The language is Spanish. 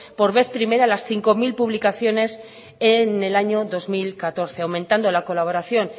por vez primera las cinco mil publicaciones en el año dos mil catorce aumentando la colaboración